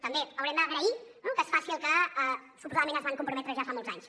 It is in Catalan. també haurem d’agrair que es faci allò a què suposadament es van comprometre ja fa molts anys